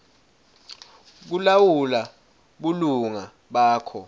kulawula bulunga bakho